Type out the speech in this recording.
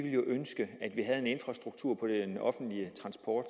jo ønske at den offentlige transport